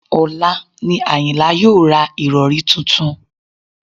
Ọ̀la ni àyìnlá yóò ra ìrọ̀rí tuntun